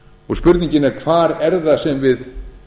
og spurningin er hvar er það sem við